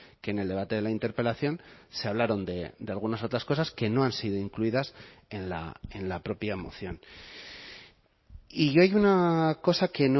que en el debate de la interpelación se hablaron de algunas otras cosas que no han sido incluidas en la propia moción y yo hay una cosa que